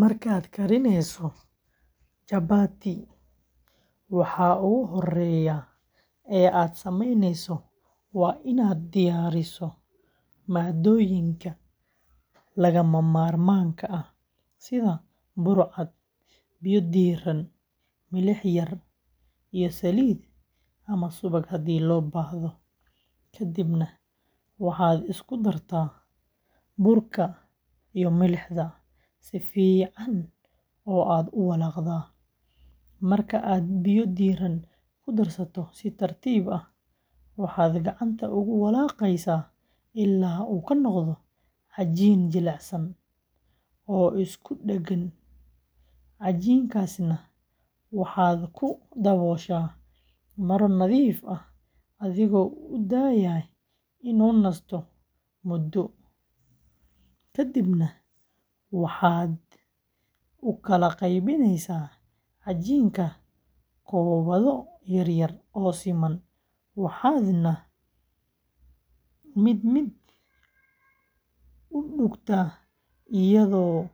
Markaad karinayso chapati, waxa ugu horreeya ee aad samaynayso waa inaad diyaariso maaddooyinka lagama maarmaanka ah sida bur cad, biyo diirran, milix yar, iyo saliid ama subag haddii loo baahdo, ka dibna waxaad isku dartaa burka iyo milixda si fiican oo aad u walaaqdaa, marka aad biyo diirran ku darsato si tartiib ah, waxaad gacanta ugu walaaqaysaa ilaa uu ka noqdo cajiin jilicsan oo isku dhagan, cajiinkaasna waxaad ku dabooshaa maro nadiif ah adigoo u daaya inuu nasto muddo, kadibna waxaad u kala qaybinaysaa cajiinka kubbado yaryar oo siman, waxaadna mid mid u duugtaa iyadoo